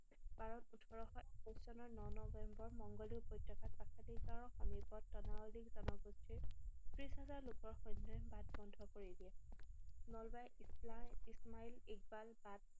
পাৰত ওঠৰশ একৈশ চনৰ ন নৱেম্বৰ মংগোলীয় উপত্যকাত পাচ্ছাধিকাৰৰ সমীপত তনাৱালি জনগোষ্ঠীৰ ত্ৰিশ হাজাৰ লোকৰ সৈন্যই বাট বন্ধ কৰি দিয়ে। নালৱাই ইছলাই ইছমাইল ইকবাল বাট